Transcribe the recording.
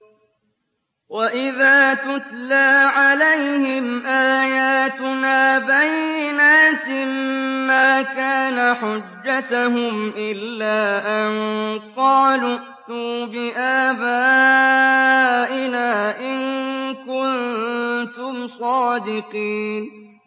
وَإِذَا تُتْلَىٰ عَلَيْهِمْ آيَاتُنَا بَيِّنَاتٍ مَّا كَانَ حُجَّتَهُمْ إِلَّا أَن قَالُوا ائْتُوا بِآبَائِنَا إِن كُنتُمْ صَادِقِينَ